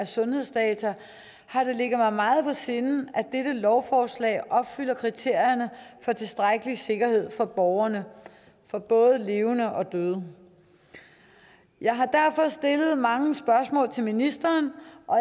sundhedsdata har det ligget mig meget på sinde at dette lovforslag opfylder kriterierne for tilstrækkelig sikkerhed for borgerne både levende og døde jeg har derfor stillet mange spørgsmål til ministeren og